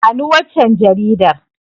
Bani waccan Jaridar